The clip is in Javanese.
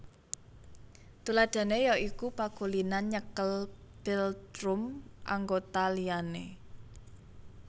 Tuladhané ya iku pakulinan nyekel philtrum anggota liyane